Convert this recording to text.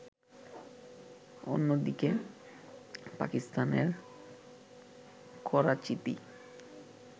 অন্যদিকে, পাকিস্তানের করাচীতে